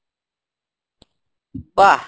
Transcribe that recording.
বাহ